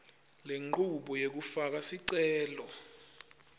lenchubo yekufaka sicelo